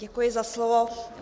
Děkuji za slovo.